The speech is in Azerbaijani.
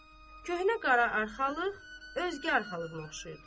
Köhnə qara arxalıq özgə arxalığına oxşayırdı.